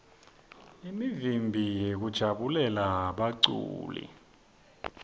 imivimbi yekujabulela baculi